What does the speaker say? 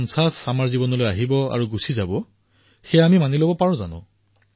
কিন্তু গান্ধী ১৫০ এনেকৈয়ে আহি এনেয়ে গুচি যাব এয়া আমি মানি লম নে নহয় দেশবাসীসকল